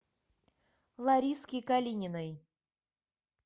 лариски калининой